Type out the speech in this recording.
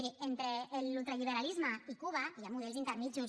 miri entre l’ultraliberalisme i cuba hi ha models intermedis